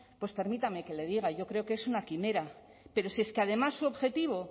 pues permítame que le diga yo creo que es una quimera pero si es que además su objetivo